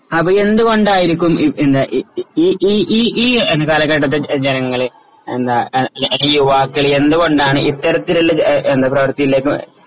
അപ്പോ എന്തുകൊണ്ടായിരിക്കും ഈ എന്താ ഈ ഈ ഈ ഈ കാലഘട്ടത്തിൽ ജനങ്ങള് എന്താ ആഹ് യുവാക്കള് എന്തുകൊണ്ടാണ് ഇത്തരത്തിലുള്ള എന്താ പ്രവർത്തിയിലേക്ക്